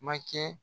Ma kɛ